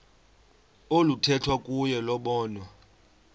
oluthethwa kuyo lobonwa